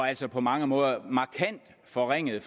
altså på mange måder markant forringede